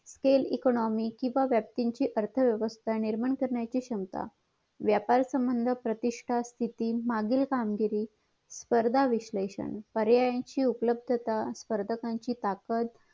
scale economic किंवा व्याप्तीची अर्थ व्यवस्था निर्माण करण्याची क्षमता व्यापार संबंध प्रतिष्ठां स्तिथी मागील कामगिरी स्पर्धा विशलेषण पर्यायाची उपलब्धता स्पर्धकाची ताकत